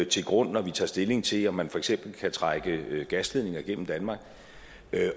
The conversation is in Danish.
til grund når vi tager stilling til om man for eksempel kan trække gasledninger gennem danmark